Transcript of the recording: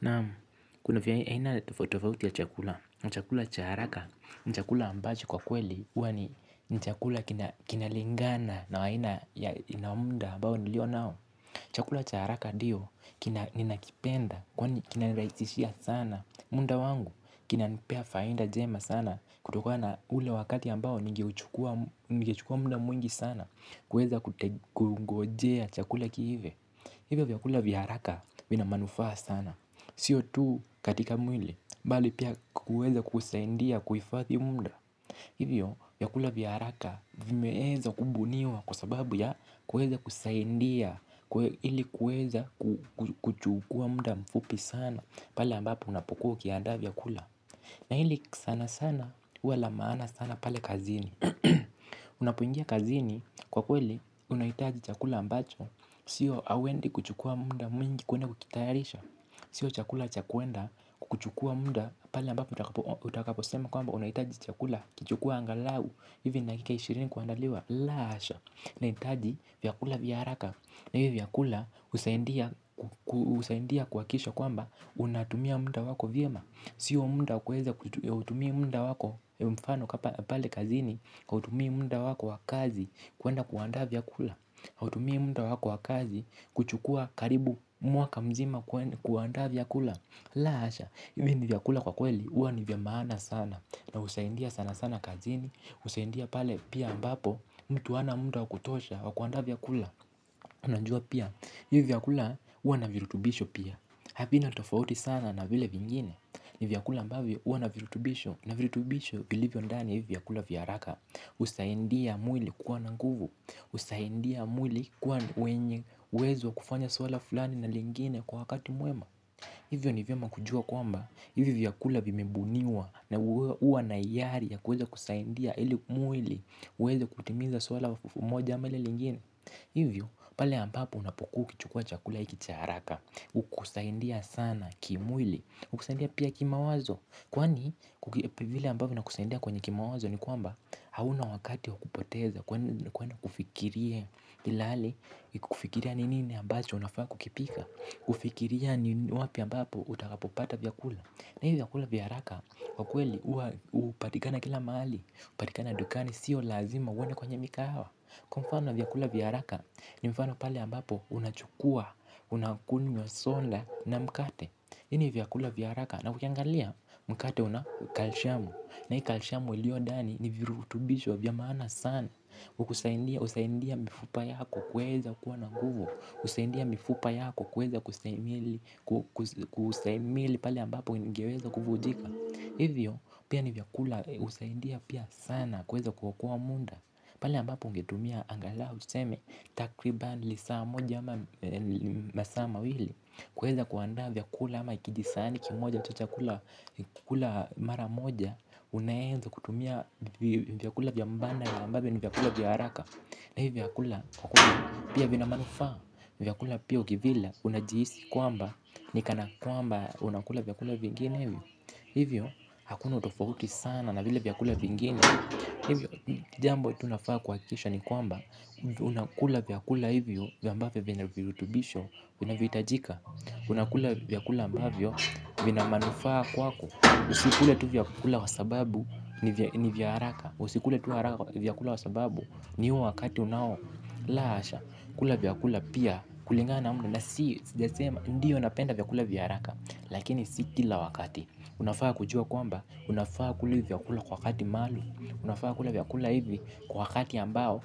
Naam kuna viaina tofauti tofauti ya chakula, chakula cha haraka, ni chakula ambacho kwa kweli huwa ni chakula kinalingana na aina muda ambao nilio nao. Chakula cha haraka ndiyo kina ninakipenda kwani kinanirahisishia sana. Muda wangu kinanipea faida njema sana kutokana na ule wakati ambao ningeuchukua muda mwingi sana kuweza kungojea chakula kiive. Hivyo vyakula vya haraka vina manufaa sana. Sio tu katika mwili, bali pia kuweza kusaidia kuifadhi muda. Hivyo vyakula vya haraka vimeweza kubuniwa kwa sababu ya kuweza kusaidia ili kuweza kuchukua muda mfupi sana pale ambapo unapokuwa ukiandaa vyakula. Na hili sana sana wala maana sana pale kazini. Unapoingia kazini, kwa kweli unahitaji chakula ambacho. Sio hauendi kuchukua muda mwingi kwenda kukitayarisha. Sio chakula cha kwenda kuchukua muda pale ambapo utakaposema kwamba unahitaji chakula kuchukua angalau. Ivi dakika ishirini kuandaliwa la hasha! Nahitaji vyakula vya haraka na hivi vyakula husaidia husaidia kuhakikisha kwamba unatumia muda wako vyema, sio muda wa kuweza kutumia muda wako. Mfano kwa pale kazini hutumii muda wako wa kazi kwenda kuandaa vyakula hutumia muda wako wa kazi kuchukua karibu mwaka mzima kuandaa vyakula. La hasha! Hivi vyakula kwakweli huwa ni vya maana sana na husaidia sana sana kazini, husaidia pale pia mbapo mtu hana muda wa kutosha wa kuandaa vya kula. Unajua pia hivi vyakula huwa na virutubisho pia, havina tofauti sana na vile vingine ni vyakula mbavyo huwa na virutubisho na virutubisho vilivyo ndani ya hivi vyakula vya haraka. Husaidia mwili kuwa na nguvu, husaidia mwili kuwa wenye uwezo kufanya swala fulani na lingine kwa wakati mwema. Hivyo ni vema kujua kwamba hivi vyakula vimebuniwa, na huwa na hiari ya kuweza kusaidia ili mwili uweze kutimiza swala moja ama lile lingine. Hivyo, pale ambapo unapokuwa ukichukua chakula hiki cha haraka hukusaidia sana kimwili. Hukusaidia pia kimawazo kwani, vile ambavyo vinakusaidia kwenye kimawazo ni kwamba hauna wakati wa kupoteza kwenye kufikiria ilale, kufikiria ni nini ambacho unafaa kukipika kufikiria ni wapi ambapo utakapopata vyakula na hivi vyakula viya haraka kwakweli, hupatikana kila mahali, hupatikana dukani, sio lazima uende kwenye mikahawa kwamfano vyakula viya haraka ni mfano pale ambapo unachukua, unakunywa soda na mkate hivi ni viyakula vya haraka na ukiangalia mkate una calcium, na hii calcium iliyondani ni virutubisho vya maana sana husaidia mifupa yako kuweza kuwa na nguvu, husaidia mifupa yako kuweza kustahimili pale ambapo ingeweza kuvunjika, hivyo pia ni vyakula husaidia pia sana kuweza kuokoa muda pale ambapo ungetumia angalau useme takribani lisaa moja ama masaa mawili kuweza kuandaa vyakula ama kijisahani kimoja tu cha kula maramoja unaweza kutumia vyakula vya mbadala ambavyo ni vyakula vya haraka na hivyo vyakula kukula pia vina manufaa vyakula pia ukivila unajihisi kwamba, ni kana kwamba unakula vyakula vingine hivyo hakuna utofauti sana na vile vyakula vingine, hivyo jambo tu unafaa kuhakikisha ni kwamba unakula vyakula hivyo ambavyo vyenye virutubisho vinavyohitajika, unakula vyakula ambavyo vina manufaa kwako, usikule tu vyakula kwasababu ni vya haraka, usikule tu haraka vyakula kwasababu ni wakati unao. La hasha! Kula vyakula pia kulingana na umri na sijasema ndiyo napenda vyakula vya haraka lakini si kila wakati. Unafaa kujua kwamba unafaa kula vyakula kwa wakati maalumu, unafaa kula vyakula hivi kwa wakati ambao